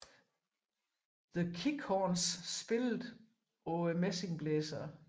The Kick Horns spillede på messingblæserne